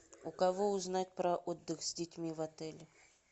у кого узнать про отдых с детьми в отеле